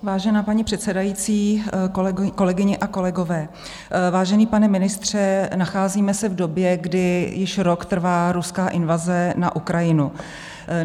Vážená paní předsedající, kolegyně a kolegové, vážený pane ministře, nacházíme se v době, kdy již rok trvá ruská invaze na Ukrajinu.